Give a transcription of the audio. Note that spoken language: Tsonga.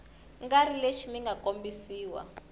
nga ri lexi mga kombisiwa